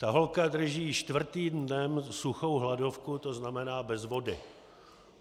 Ta holka drží čtvrtým dnem suchou hladovku, to znamená bez vody.